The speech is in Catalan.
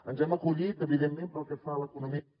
ens hem acollit evidentment pel que fa a l’economia